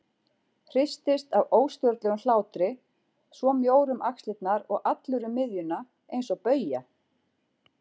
Hristist af óstjórnlegum hlátri, svo mjór um axlirnar og allur um miðjuna eins og bauja.